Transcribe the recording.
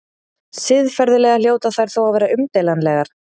Siðferðilega hljóta þær þó að vera umdeilanlegar.